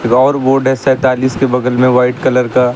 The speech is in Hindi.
ड्रॉवर बोर्ड है सैंतालीस के बगल में वाइट कलर का।